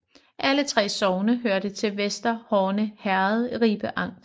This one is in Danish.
Alle 3 sogne hørte til Vester Horne Herred i Ribe Amt